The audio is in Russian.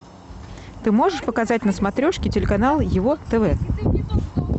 ты можешь показать на смотрешке телеканал его тв